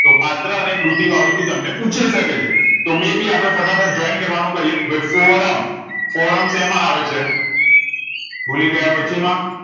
તો પાત્ર અને કૃતિ વાળું ભી તમને પૂછી શકે છે તેઓ may be અપને ફટાફટ joint કરવા નું કરીયે ફોરમ ફોરમ સેમા આવે છે ભુલીગયા પછી માં